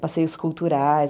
Passeios culturais.